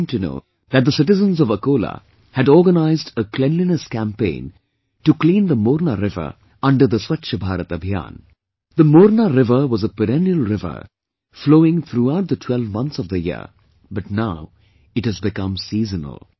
I came to know that the citizens of Akola had organized a cleanliness campaign to clean the Morna river under the Swachh Bharat Abhiyan The Morna river was a perennial river flowing throughout the twelve months of the year but now it has become seasonal